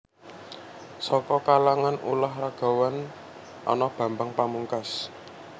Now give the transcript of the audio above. Saka kalangan ulah ragawan ana Bambang Pamungkas